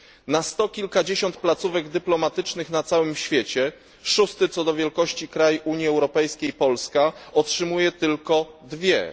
Na sto kilkadziesiąt placówek dyplomatycznych na całym świecie szósty co do wielkości kraj Unii Europejskiej, Polska, otrzymuje tylko dwie.